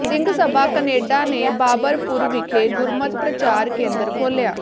Singh Sabha Canada ਨੇ ਬਾਬਰਪੁਰ ਵਿਖੇ ਗੁਰਮਤਿ ਪ੍ਰਚਾਰ ਕੇਂਦਰ ਖੋਲ੍ਹਿਆ